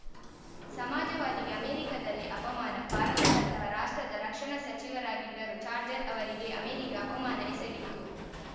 ಸಮಾಜವಾದಿಗೆ ಅಮೇರಿಕದಲ್ಲಿ ಅಪಮಾನ ಭಾರತದಂತಹ ರಾಷ್ಟ್ರದ ರಕ್ಷಣಾ ಸಚಿವರಾಗಿದ್ದರೂ ಚಾರ್ಜರ್ ಅವರಿಗೆ ಅಮೆರಿಕ ಅಪಮಾನ ಎಸಗಿತ್ತು